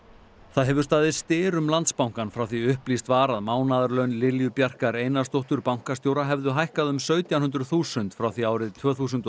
það hefur staðið styr um Landsbankann frá því upplýst var að mánaðarlaun Lilju Bjarkar Einarsdóttur bankastjóra hefðu hækkað um sautján hundruð þúsund frá því árið tvö þúsund